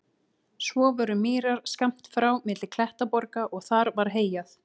Svo voru mýrar skammt frá milli klettaborga og þar var heyjað.